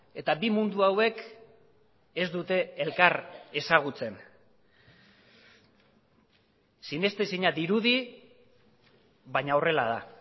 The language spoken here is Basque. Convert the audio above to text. eta bi mundu hauek ez dute elkar ezagutzen sinestezina dirudi baina horrela da